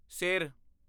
ਸਿਰ